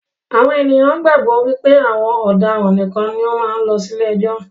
Àwọn ènìyàn gbàgbọ́ wípé àwọn ọ̀daràn nìkan ni ó máa ń lọ sí ilé ẹjọ́